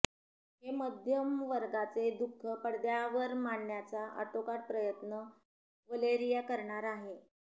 हे मध्यमवर्गाचे दुःख पडद्यावर मांडण्याचा आटोकाट प्रयत्न वलेरिया करणार आहे